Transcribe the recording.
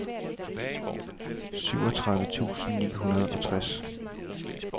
syvogtredive tusind ni hundrede og tres